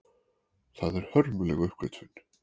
Það er hörmuleg uppgötvun.